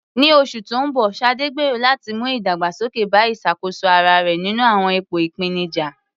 Ní oṣù tó ń bọ̀, Sade gbèrò láti mú ìdàgbàsókè bá ìṣàkóso ara rẹ̀ nínú àwọn ipò ìpèníjà.